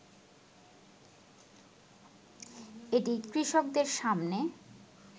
এটি কৃষকদের সামনে